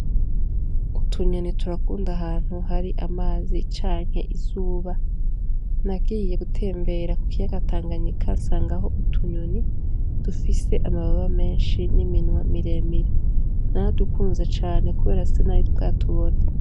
Utunyoni turakunda ahantu hari amazi canke izuba nagiye gutembera ku kiyaga tanganyika nsanga ho utunyoni dufise amababa menshi n'iminwa miremire naradukunze cane, kubera sinari bwatubona.